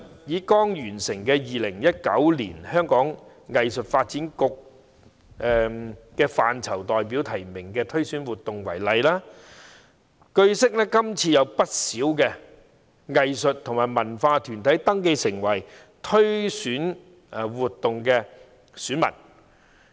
以剛完成的 "2019 年香港藝術發展局藝術範疇代表提名推選活動"為例，據悉今次有不少藝術和文化團體登記成為選民。